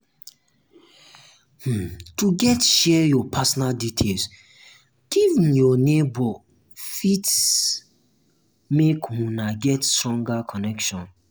um to de share your personal details give um your neighbor fit make una get stronger connection